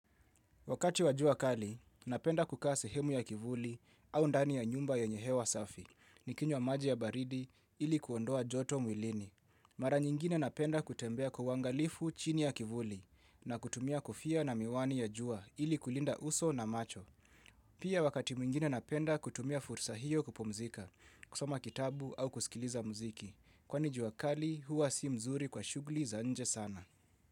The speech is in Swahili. Wakati wa jua kali, napenda kukaa sehemu ya kivuli au ndani ya nyumba yenye hewa safi, nikinywa maji ya baridi ili kuondoa joto mwilini. Mara nyingine napenda kutembea kwa uangalifu chini ya kivuli na kutumia kofia na miwani ya jua ili kulinda uso na macho. Pia wakati mwingine napenda kutumia fursa hiyo kupumzika, kusoma kitabu au kusikiliza mziki, kwani jua kali huwa si mzuri kwa shughuli za nje sana.